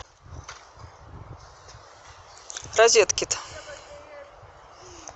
розеткит